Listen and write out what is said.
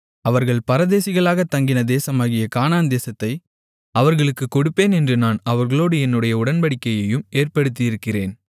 அவர்கள் பரதேசிகளாகத் தங்கின தேசமாகிய கானான்தேசத்தை அவர்களுக்குக் கொடுப்பேன் என்று நான் அவர்களோடு என்னுடைய உடன்படிக்கையையும் ஏற்படுத்தியிருக்கிறேன்